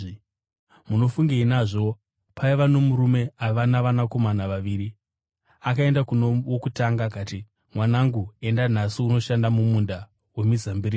“Munofungei nazvo? Paiva nomurume aiva navanakomana vaviri. Akaenda kuno wokutanga akati, ‘Mwanangu, enda nhasi unoshanda mumunda wemizambiringa.’